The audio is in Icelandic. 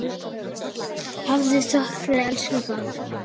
Hafðu þökk fyrir, elsku Garðar.